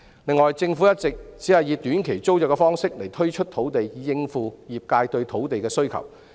另外，政府一直只以短期租約方式推出土地，以應付業界對土地的需求。